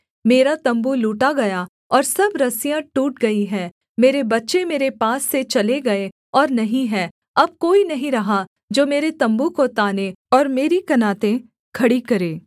मेरा तम्बू लूटा गया और सब रस्सियाँ टूट गई हैं मेरे बच्चे मेरे पास से चले गए और नहीं हैं अब कोई नहीं रहा जो मेरे तम्बू को ताने और मेरी कनातें खड़ी करे